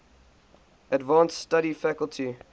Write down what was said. advanced study faculty